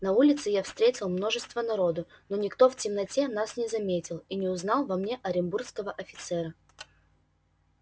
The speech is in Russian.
на улице я встретил множество народу но никто в темноте нас не заметил и не узнал во мне оренбургского офицера